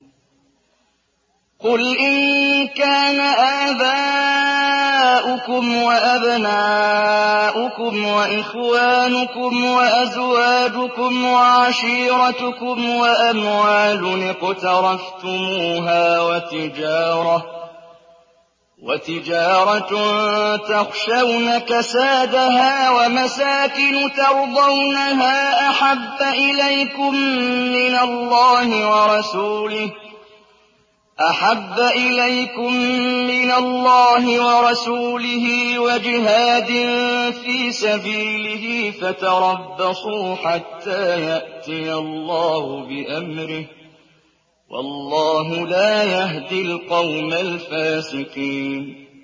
قُلْ إِن كَانَ آبَاؤُكُمْ وَأَبْنَاؤُكُمْ وَإِخْوَانُكُمْ وَأَزْوَاجُكُمْ وَعَشِيرَتُكُمْ وَأَمْوَالٌ اقْتَرَفْتُمُوهَا وَتِجَارَةٌ تَخْشَوْنَ كَسَادَهَا وَمَسَاكِنُ تَرْضَوْنَهَا أَحَبَّ إِلَيْكُم مِّنَ اللَّهِ وَرَسُولِهِ وَجِهَادٍ فِي سَبِيلِهِ فَتَرَبَّصُوا حَتَّىٰ يَأْتِيَ اللَّهُ بِأَمْرِهِ ۗ وَاللَّهُ لَا يَهْدِي الْقَوْمَ الْفَاسِقِينَ